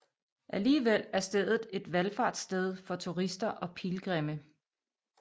Alligevel er stedet et valfartssted for turister og pilgrimme